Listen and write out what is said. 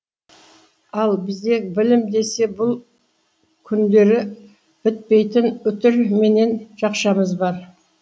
ал бізде білім десе бұл күндері бітпейтін үтір менен жақшамыз бар